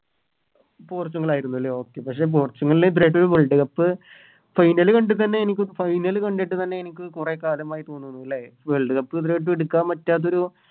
പോർച്ചുഗലായിരുന്നു ലെ Okay പക്ഷെ Portugal Worldcup final കണ്ടിക്കന്നെ എനിക്ക് Final കണ്ടിട്ട് തന്നെ എനിക്ക് കൊറേ കാലമായി തോന്നുന്നു ലെ Worldcup ഇതുവരായിട്ടും എടുക്കാൻ പറ്റാത്തൊരു